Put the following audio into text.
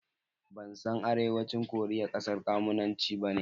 Ban san Arewacin Korea ƙasar kwamunanci bane